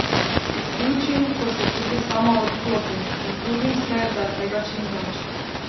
Izključim, ko se tudi sama odklopim, in trudim se, da je tega čimveč.